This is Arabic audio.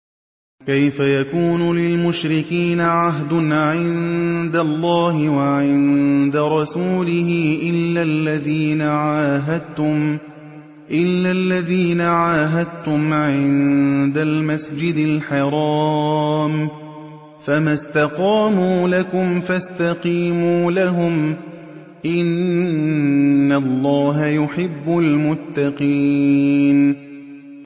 كَيْفَ يَكُونُ لِلْمُشْرِكِينَ عَهْدٌ عِندَ اللَّهِ وَعِندَ رَسُولِهِ إِلَّا الَّذِينَ عَاهَدتُّمْ عِندَ الْمَسْجِدِ الْحَرَامِ ۖ فَمَا اسْتَقَامُوا لَكُمْ فَاسْتَقِيمُوا لَهُمْ ۚ إِنَّ اللَّهَ يُحِبُّ الْمُتَّقِينَ